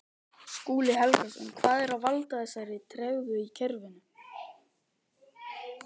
Skúli Helgason: Hvað er að valda þessari tregðu í kerfinu?